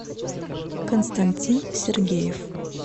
константин сергеев